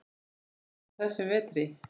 Eins og á þessum vetri.